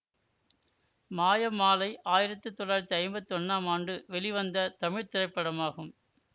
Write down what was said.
மாய மாலை ஆயிரத்தி தொள்ளாயிரத்தி ஐம்பத்தி ஒன்னாம் ஆண்டு வெளிவந்த தமிழ் திரைப்படமாகும்